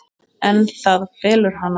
En það felur hana.